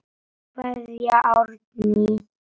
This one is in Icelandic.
Kveðja Árný.